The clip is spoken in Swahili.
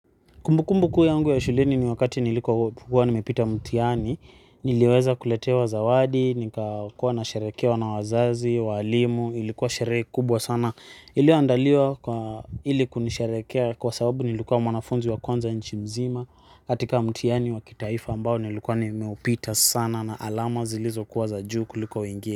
Kumbukumbu kuu yangu ya shuleni ni wakati nilikokuwa nimepita mtihani, niliweza kuletewa zawadi, nikakuwa nasherehekewa na wazazi, walimu, ilikuwa sherehe kubwa sana, iliyoandaliwa kwa ili kunisherehekea kwa sababu nilikuwa mwanafunzi wa kwanza nchi nzima, katika mtihani wa kitaifa ambao nilikuwa nimeupita sana na alama zilizokuwa za juu kuliko wengine.